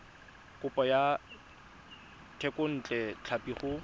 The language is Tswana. kopo ya thekontle tlhapi go